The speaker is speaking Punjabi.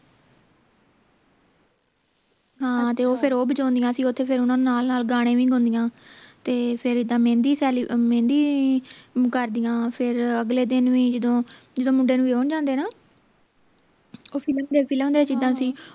ਹਾਂ ਤੇ ਫੇਰ ਉਹ ਉਹ ਬਜਾਉਂਦੀਆਂ ਸੀ ਓਥੇ ਫੇਰ ਓਹਨਾ ਨਾਲ ਨਾਲ ਗਾਣੇ ਵੀ ਗਾਂਉਦੀਆਂ ਤੇ ਫੇਰ ਇੱਦਾਂ ਮਹਿੰਦੀ ਸੇਲੀ ਮਹਿੰਦੀ ਕਰਦਿਆਂ ਫੇਰ ਅਗਲੇ ਦਿਨ ਵੀ ਜਦੋਂ ਜਦੋਂ ਮੁੰਡੇ ਨੂੰ ਵਿਆਹੁਣ ਜਾਂਦੇ ਹੈ ਨਾ ਉਹ ਫਿਲਮ ਦੇ ਫਿਲਮ ਦੇ ਵਿਚ ਇੱਦਾਂ ਸੀ